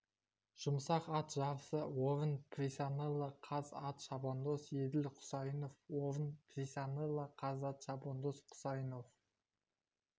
жұмсақ ат жарысы орын присаннела каз ат шабандоз еділ құсайынов орын присаннела каз ат шабандоз құсайынов